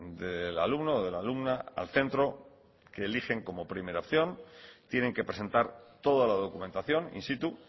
del alumno o de la alumna al centro que eligen como primera opción tienen que presentar toda la documentación in situ